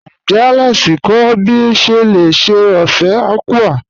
Níjẹ́ Alex kọ ọ̀ bí o ṣé lè ṣè ófẹ̀ àkwụ̀?